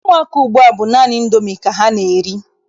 Ụmụaka ugbua bụ naanị Indomi ka ha na-eri.